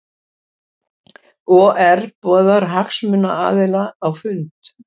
OR boðar hagsmunaaðila á fund